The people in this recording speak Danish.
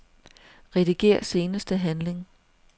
Rediger seneste handling.